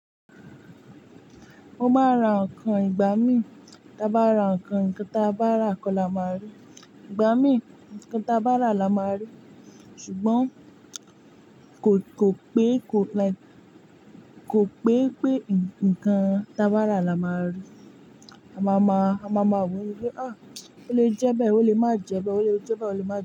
Mo má ra nǹkan ìgbà mí, tà bá ra nǹkan, nǹkan tà bá rà kọ́ la máa rí. Ìgbà mí, nǹkan tà bá rà la máa rí. Ṣùgbọ́n kò, kò pé kò like, kò pé pé nǹkan tà bá rà la máa rí. A máa ma, a máa ma wí wípé "à, ó lè jẹ bẹ́ẹ̀, ó lè má jẹ bẹ́ẹ̀, ó lè jẹ bẹ́ẹ̀, ó lè má jẹ bẹ́ẹ̀."